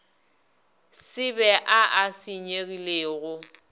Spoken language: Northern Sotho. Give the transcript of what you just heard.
se be a a senyegilego